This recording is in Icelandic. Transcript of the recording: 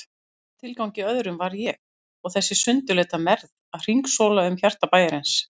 Í hvaða tilgangi öðrum var ég og þessi sundurleita mergð að hringsóla um hjarta bæjarins?